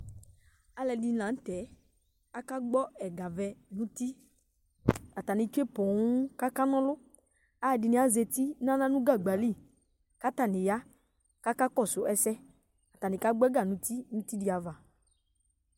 Zlʊ ɛdɩnɩ lanʊtɛ aka gbɔ ɛga vɛ nʊtɩ Atanɩ tsʊe ƒoo kaka nɔlʊ Alʊ ɛdinɩ azatɩ dawla nʊ gagba lɩ katanɩ ya kakɔsʊ ɛsɛ Atanɩ kagbɔ ɛga nʊtɩ nʊtɩ dɩ ava